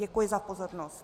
Děkuji za pozornost.